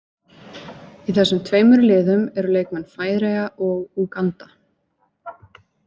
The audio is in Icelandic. Í þessum tveimur liðum eru leikmenn Færeyja og Úganda.